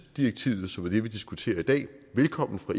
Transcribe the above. direktivet som er det vi diskuterer i dag velkommen